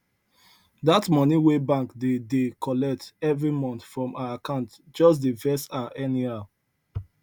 that money wey bank dey dey collect every month from her account just dey vex her anyhow